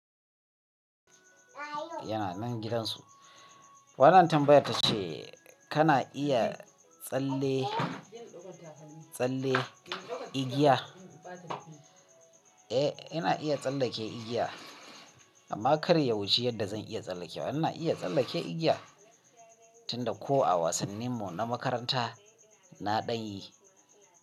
Yana nan gidan su. Wannan tambayar tace kana iya tsalle-tsalle igiya? Eh, ina iya tsallake igiya amma kar ya wuce yanda zan iya tsallakewa. Ina iya tsallake igiya, tunda ko a wasannin mu na makaranta na ɗanyi.